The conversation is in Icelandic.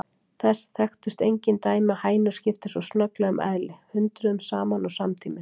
Þess þekktust engin dæmi að hænur skiptu svo snögglega um eðli, hundruðum saman og samtímis.